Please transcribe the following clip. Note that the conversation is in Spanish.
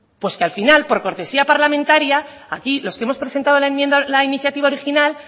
pues que al final por cortesía parlamentaria aquí lo que hemos presentado la iniciativa original